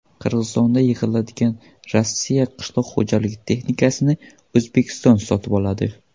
Qirg‘izistonda yig‘iladigan Rossiya qishloq xo‘jaligi texnikasini O‘zbekiston sotib oladi.